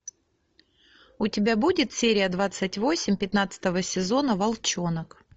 у тебя будет серия двадцать восемь пятнадцатого сезона волченок